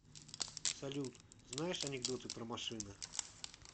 салют знаешь анекдоты про машины